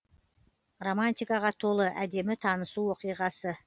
романтикаға толы әдемі танысу оқиғасы